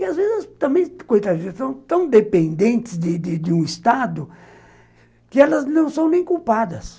E às vezes, também, coitadinhas, são tão dependentes de de de um Estado que elas não são nem culpadas.